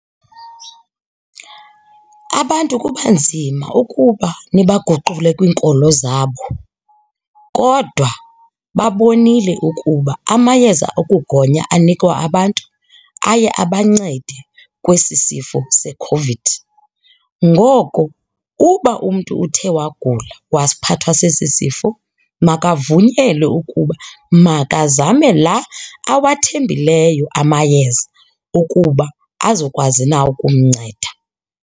Abantu kuba nzima ukuba nibaguqule kwiinkolo zabo kodwa babonile ukuba amayeza okugonya anikwa abantu aye abancede kwesi sifo seCOVID. Ngoko uba umntu uthe wagula waphathwa sesi sifo makavunyelwe ukuba makazame la awathembileyo amayeza ukuba azokwazi na ukumnceda.